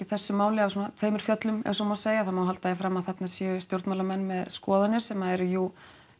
þessu máli af tveimur fjöllum ef svo má segja það má halda því fram að þarna séu stjórnmálamenn með skoðanir sem eru jú